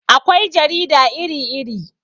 Akwai jarida iri iri